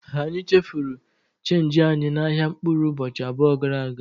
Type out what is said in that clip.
Anyị chefuru chenji anyị n'ahịa mkpụrụ ụbọchị abụọ gara aga.